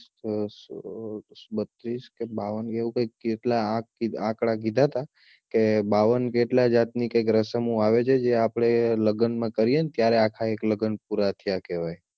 બત્રીસ કે બાવન કે એવું કૈક કેટલાં આંકડા કીધાં હતા કે બાવન કે એટલાં જાતની કૈક રસમો આવે છે જે આપડે લગ્નમાં કરીઈને ત્યારે એક આખાં લગ્ન પુરા થયાં કેહવાય